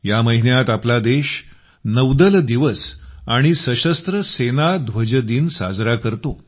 या महिन्यात आपला देश नौदल दिवस आणि सशस्त्र सेना ध्वज दिन साजरा करतो